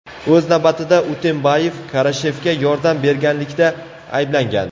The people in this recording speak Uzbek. O‘z navbatida, Utembayev Karashevga yordam berganlikda ayblangan.